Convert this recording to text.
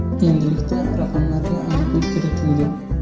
Endilikda raqamlarga aniqlik kiritildi.